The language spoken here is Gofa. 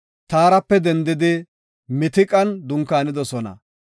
Taarape dendidi Mitiqan dunkaanidosona.